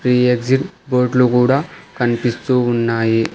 ఈ exit board లు గూడా కన్పిస్తూ ఉన్నాయి.